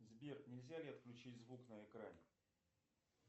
сбер нельзя ли отключить звук на экране